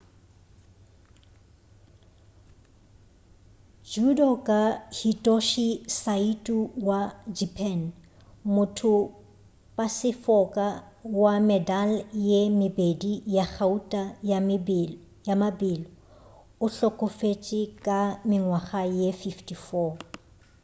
judoka hitoshi saito wa japan mothopasefoka wa medal ye mebedi ya gauta ya mabelo o hlokofetše ka mengwaga ye 54